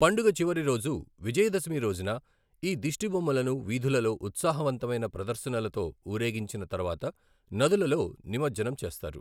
పండుగ చివరి రోజు, విజయదశమి రోజున, ఈ దిష్టిబొమ్మలను వీధులలో ఉత్సాహవంతమైన ప్రదర్శనలతో ఊరేగించిన తర్వాత నదులలో నిమజ్జనం చేస్తారు.